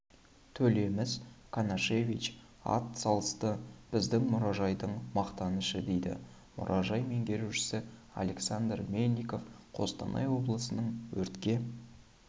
толемис канашевич ат салысты біздің мұражайдың мақтанышы дейді мұражай меңгерушісі александр мельников қостанай облысының өртке